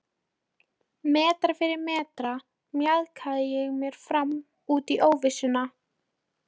Metra fyrir metra mjakaði ég mér áfram út í óvissuna.